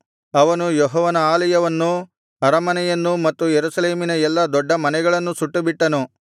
ಅವನು ಯೆಹೋವನ ಆಲಯವನ್ನೂ ಅರಮನೆಯನ್ನೂ ಮತ್ತು ಯೆರೂಸಲೇಮಿನ ಎಲ್ಲಾ ದೊಡ್ಡ ಮನೆಗಳನ್ನೂ ಸುಟ್ಟುಬಿಟ್ಟನು